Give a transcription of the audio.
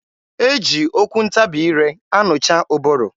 E ji okwu ntabi ire anụcha ụbụrụ.